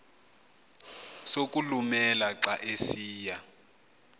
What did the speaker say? sokulumela xa esiya